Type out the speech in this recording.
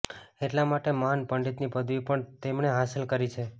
એટલા માટે મહાન પંડિતની પદવી પણ તેમણે હાંસલ કરી છે